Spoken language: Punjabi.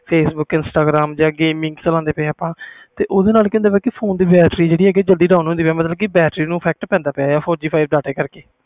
facebook instagram game ਚਲਾਂਦੇ ਪਏ ਆਪਾ ਓਹਦੇ ਨਾਲ ਕਿ ਹੁੰਦਾ ਫੋਨ ਦੀ ਬੈਟਰੀ ਜਲਦੀ low ਹੋ ਜਾਂਦੀ